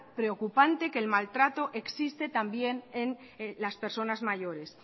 preocupante que el maltrato existe también en las personas mayores